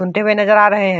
सुनते हुए नजर आ रहे हैं।